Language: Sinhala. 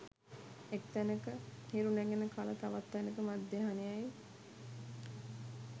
එක් තැනක හිරු නැගෙන කල තවත් තැනෙක මධ්‍යහ්නයයි